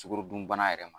Sukaro dunbana yɛrɛ ma